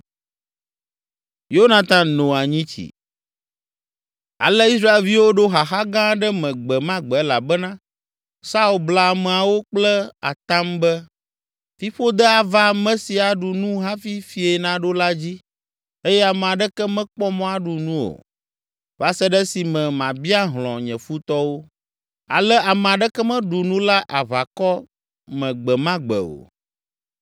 Ale Israelviwo ɖo xaxa gã aɖe me gbe ma gbe elabena Saul bla ameawo kple atam be, “Fiƒode ava ame si aɖu nu hafi fiẽ naɖo la dzi eye ame aɖeke mekpɔ mɔ aɖu nu o, va se ɖe esime mabia hlɔ̃ nye futɔwo!” Ale ame aɖeke meɖu nu la aʋakɔ me gbe ma gbe o.